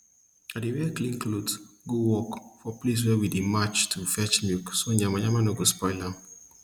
i dey wear clean cloth go work for place we dey march to fetch milk so yamayama nor go spoil am